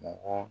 Mɔgɔ